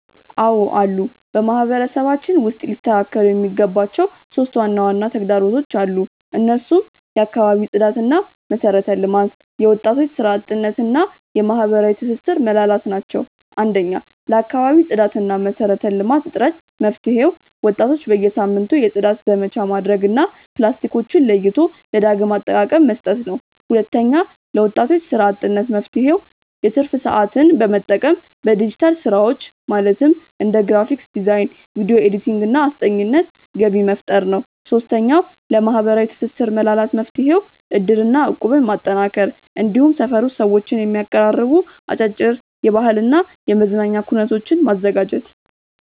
አዎ አሉ። በማህበረሰባችን ውስጥ ሊስተካከሉ የሚገባቸው 3 ዋና ዋና ተግዳሮቶች አሉ። እነሱም የአካባቢ ጽዳትና መሰረተ ልማት፣ የወጣቶች ስራ አጥነት እና የማህበራዊ ትስስር መላላት ናቸው። 1. ለአካባቢ ጽዳትና መሰረተ ልማት እጥረት መፍትሄው፦ ወጣቶች በየሳምንቱ የጽዳት ዘመቻ ማድረግ እና ፕላስቲኮችን ለይቶ ለዳግም አጠቃቀ መስጠት ነው። 2. ለወጣቶች ስራ አጥነት መፍትሄው፦ የትርፍ ሰዓትን በመጠቀም በዲጂታል ስራዎች (እንደ ግራፊክ ዲዛይን፣ ቪዲዮ ኤዲቲንግ) እና አስጠኚነት ገቢ መፍጠር ነው። 3. ለማህበራዊ ትስስር መላላት መፍትሄው፦ እድርና እቁብን ማጠናከር፣ እንዲሁም ሰፈር ውስጥ ሰዎችን የሚያቀራርቡ አጫጭር የባህልና የመዝናኛ ኩነቶችን ማዘጋጀት።